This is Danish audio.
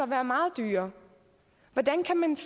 være meget dyrere hvordan kan man